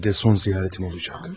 Bəlkə də son ziyaretim olacaq.